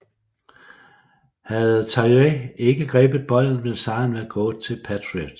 Havde Tyree ikke grebet bolden ville sejren være gået til Patriots